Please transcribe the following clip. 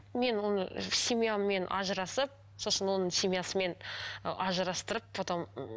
мен оны семьяммен ажырасып сосын оның семьясымен ы ажырастырып потом